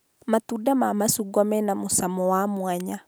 Matunda ma macungwa mena mũcamo wa mwanya